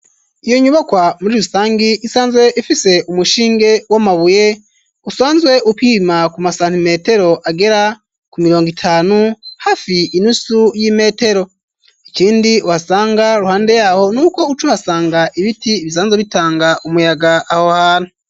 Iyo nyubakwa muri rusangi, isanzwe ifise umushinge w'amabuye ,usanzwe upima ku masantimetero agera ku mirongo itanu ,hafi inusu y'imetero ,ikindi uhasanga iruhande yaho ,n'uko ucu hasanga ibiti ibisanzwe bitanga umuyaga aho hano.